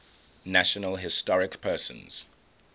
national historic persons